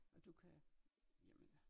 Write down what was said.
Og du kan jeg mener